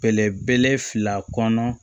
Bɛlɛbeleɛ fila kɔnɔ